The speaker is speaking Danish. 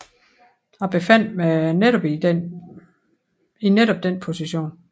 Jeg befandt mig i netop den position